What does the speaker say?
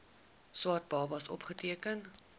swart babas opgeteken